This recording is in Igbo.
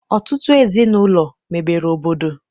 Ọtụtụ ezinaụlọ mebere obodo.